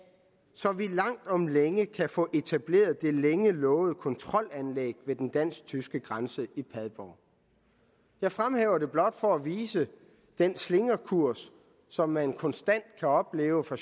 så vi langt om længe kan få etableret det længe lovede kontrolanlæg ved den dansk tyske grænse i padborg jeg fremhæver det blot for at vise den slingrekurs som man konstant kan opleve fra